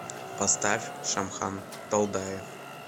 поставь шамхан далдаев